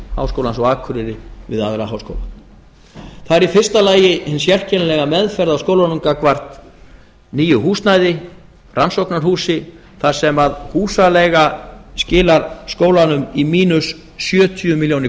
háskólans á akureyri við aðra háskóla það er í fyrsta lagi hin sérkennilega meðferð á skólanum gagnvart nýju húsnæði rannsóknarhúsi þar sem húsaleiga skilar skólanum í mínus sjötíu milljónum